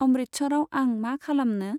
अमृटचराव आं मा खालामनो ?